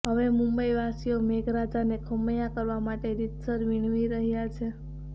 હવે મુંબઈવાસીઓ મેઘરાજાને ખમૈયા કરવા માટે રિતસર વિણવી રહ્યા છે